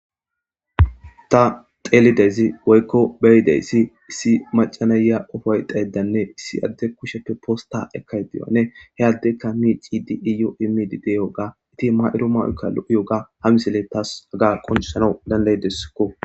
ta xeelidezi woykko beyideyssi issi macanaya qofoy deedanne issi adde kusheppe posta ekkay diyane he addekka miici di iyoo imidi deyoga iti ma7iro mawuykka lo7i yoga ha misile taas aga qoncisana dandaydeskko